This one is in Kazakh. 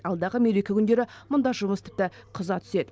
алдағы мереке күндері мұнда жұмыс тіпті қыза түседі